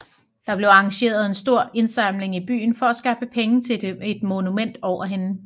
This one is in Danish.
Der blev arrangeret en stor indsamling i byen for at skaffe penge til et monument over hende